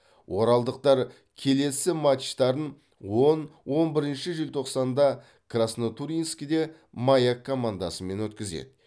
оралдықтар келесі матчтарын он он бірінші желтоқсанда краснотурьинскіде маяк командасымен өткізеді